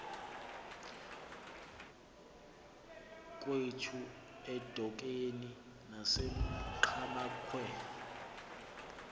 kwethu edikeni nasenqhamakhwe